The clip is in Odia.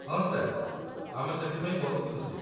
ହଁ ସାର୍, ଆମେ ସେଥିପାଇଁ ବହୁତ ଖୁସି